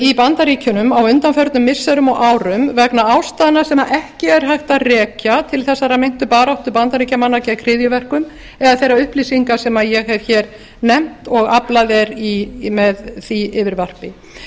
í bandaríkjunum á undanförnum missirum og árum vegna ástæðna sem ekki er hægt að rekja til þessarar meintu baráttu bandaríkjamanna gegn hryðjuverkum eða þeirra upplýsinga sem ég hef nefnt og aflað er með því yfirvarpi